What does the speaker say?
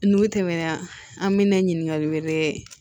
N'u tɛmɛna an bɛ na ɲininkali wɛrɛ